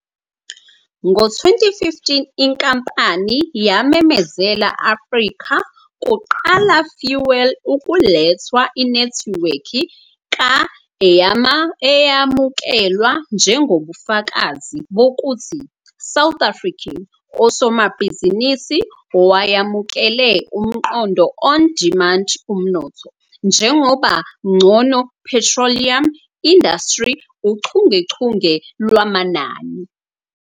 Ngo-2015 inkampani yamemezela Afrika kuqala fuel ukulethwa inethiwekhi ka-eyamukelwa njengobufakazi bokuthi South African osomabhizinisi owayamukele umqondo On Demand Umnotho njengoba ngcono Petroleum Industry uchungechunge lwamanani.